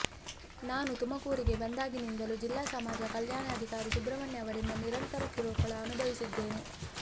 ನಾನು ತುಮಕೂರಿಗೆ ಬಂದಾಗಿನಿಂದಲೂ ಜಿಲ್ಲಾ ಸಮಾಜ ಕಲ್ಯಾಣಾಧಿಕಾರಿ ಸುಬ್ರಹ್ಮಣ್ಯ ಅವರಿಂದ ನಿರಂತರ ಕಿರುಕುಳ ಅನುಭವಿಸುತ್ತಿದ್ದೇನೆ